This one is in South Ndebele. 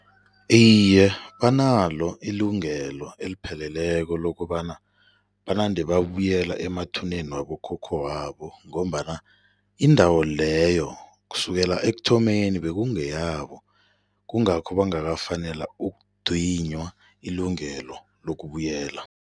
Iye, banalo ilungelo elipheleleko lokobana banande babuyela emathuneni wabokhokho wabo ngombana indawo leyo kusukela ekuthomeni bekungeyabo, kungakho bangakafanelwa ukudinywa ilungelo lokubuyela.